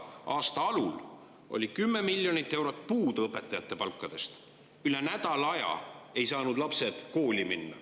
Aasta alul oli 10 miljonit eurot puudu õpetajate palkadest, üle nädala aja ei saanud lapsed kooli minna.